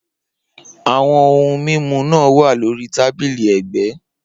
Awọn ohun mimu naa wa lori tabili ẹgbẹ